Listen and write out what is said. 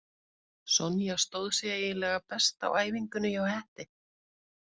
Sonja stóð sig eiginlega best á æfingunni hjá Hetti.